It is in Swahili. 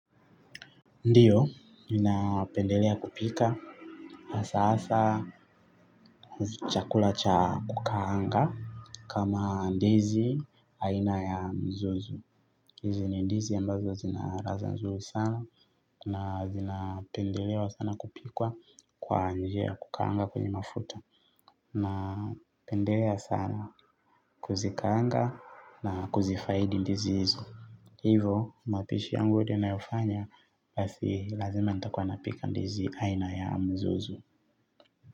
Ndiyo, ninapendelea kupika, na sasa chakula cha kukaanga kama ndizi aina ya mzozo. Hizi ni ndizi ambazo zina ladha nzuri sana na zinapendelewa sana kupikwa kwa njia ya kukaanga kwenye mafuta. Napendelea sana kuzikaanga na kuzifaidi ndizi hizo. Hivo, mapishi yangu ninayofanya, basi lazima nitakuwa napika ndizi aina ya mzuzu.